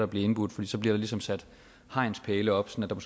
blive indbudt for så bliver der ligesom sat hegnspæle op sådan at